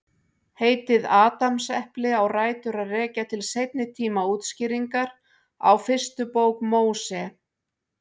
Heitið Adamsepli á rætur að rekja til seinni tíma útskýringar á fyrstu bók Móse.